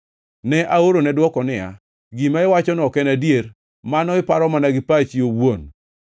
Ne aorone dwoko niya, “Gima iwachono ok en adier; mano iparo mana gi pachi owuon.”